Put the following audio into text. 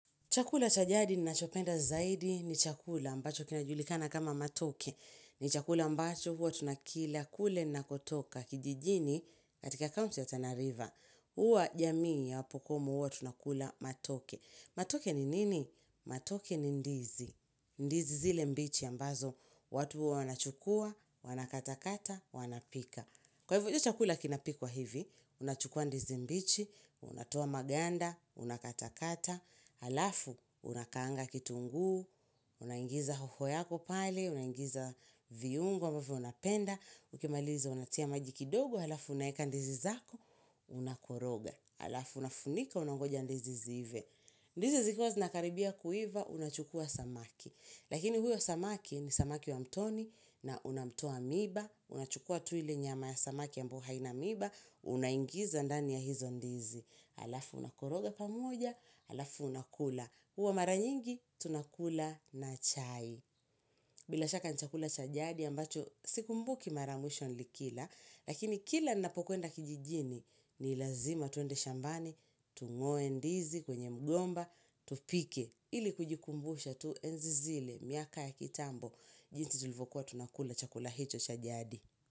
Chakula cha jadi ninacho penda zaidi ni chakula ambacho kinajulikana kama matoke. Ni chakula ambacho huwa tunakila kule ninakotoka kijijini katika county ya Tanariva. Huwa jamii ya wapokomo huwa tunakula matoke. Matoke ni nini? Matoke ni ndizi. Ndizi zile mbichi ambazo watu wanachukua, wanakata kata, wanapika. Kwa hivyo chakula kinapikuwa hivi, unachukua ndizi mbichi, unatoa maganda, unakata kata. Alafu unakaanga kitungu, una ingiza hoho yako pale, una ingiza viyungo, ambavyo unapenda, ukimaliza unatia majikidogo, alafu unayeka ndizi zako, unakoroga. Alafu unafunika, unangoja ndizi ziive. Ndizi zikuwa zinakaribia kuiva, unachukua samaki. Lakini huyo samaki ni samaki wa mtoni na unamtoa miba, unachukua tuili nyama ya samaki ambu haina miba, unangiza ndani ya hizo ndizi. Alafu unakoroga pamoja, alafu unakula. Uwa maranyingi, tunakula na chai. Bila shaka ni chakula cha jadi ambacho, sikumbuki maramwisho nilikila. Lakini kila nnapokuenda kijijini, ni lazima twende shambani, tung'oe ndizi kwenye mgomba, tupike. Ili kujikumbusha tu enzi zile miaka ya kitambo. Jinsi tulivokuwa tunakula chakula hicho chajadi.